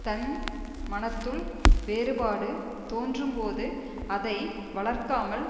தன் மனத்துள் வேறுபாடு தோன்றும் போது அதை வளர்க்காமல்